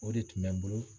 O de tun bɛ n bolo